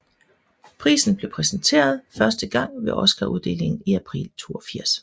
Prisen blev præsenteret første gang ved Oscaruddelingen i april 1982